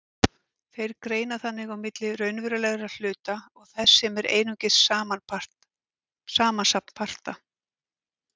Þeir greina þannig á milli raunverulegra hluta og þess sem er einungis samansafn parta.